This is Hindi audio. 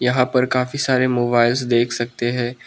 यहां पर काफी सारे मोबाइल्स देख सकते हैं।